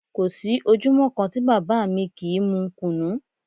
Kò sí ojúmọ́ kan tí bàbá mi kì í mú Kùnú